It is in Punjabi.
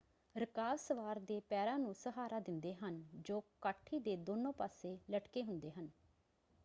ਰਕਾਬ ਸਵਾਰ ਦੇ ਪੈਰਾਂ ਨੂੰ ਸਹਾਰਾ ਦਿੰਦੇ ਹਨ ਜੋ ਕਾਠੀ ਦੇ ਦੋਨੋਂ ਪਾਸੇ ਲਟਕੇ ਹੁੰਦੇ ਹਨ।